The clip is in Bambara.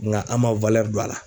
Ŋa an' ma don a la.